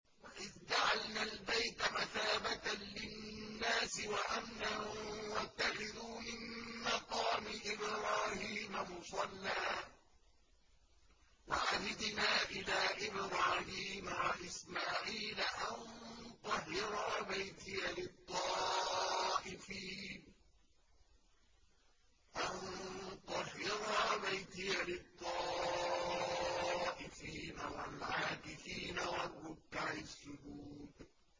وَإِذْ جَعَلْنَا الْبَيْتَ مَثَابَةً لِّلنَّاسِ وَأَمْنًا وَاتَّخِذُوا مِن مَّقَامِ إِبْرَاهِيمَ مُصَلًّى ۖ وَعَهِدْنَا إِلَىٰ إِبْرَاهِيمَ وَإِسْمَاعِيلَ أَن طَهِّرَا بَيْتِيَ لِلطَّائِفِينَ وَالْعَاكِفِينَ وَالرُّكَّعِ السُّجُودِ